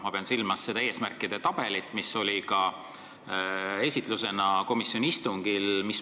Ma pean silmas seda eesmärkide tabelit, mida esitleti ka komisjoni istungil.